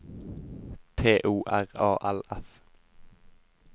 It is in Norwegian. T O R A L F